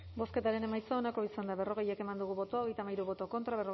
bozketaren emaitza onako izan da berrogei eman dugu bozka hogeita hamairu boto